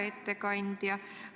Hea ettekandja!